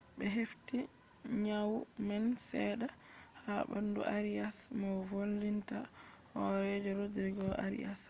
be hefti nyawu man sedda ha bandu arias mo volinta horeejo rodrigo arias vi